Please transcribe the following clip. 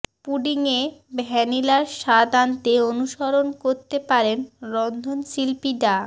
পুডিংয়ে ভ্যানিলার স্বাদ আনতে অনুসরণ করতে পারেন রন্ধনশিল্পী ডা